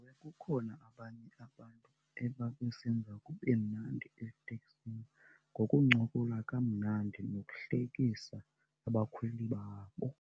Kukhona abanye abantu ebabesenza kube mnandi eteksini ngokuncokola kamnandi nokuhlekisa abakhweli babo.